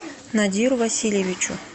надиру васильевичу